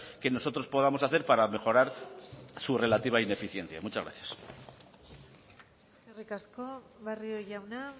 que nosotros podamos hacer para mejorar su relativa ineficiencia muchas gracias eskerrik asko barrio jauna